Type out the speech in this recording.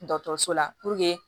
Dɔkɔtɔrɔso la